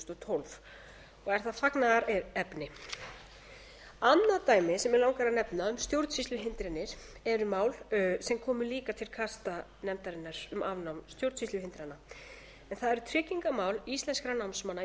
tólf og er það fagnaðarefni annað dæmi sem mig langar að nefna um stjórnsýsluhindranir eru mál sem komu líka til kasta nefndarinnar um afnám stjórnsýsluhindrana en það eru tryggingamál íslenskra námsmanna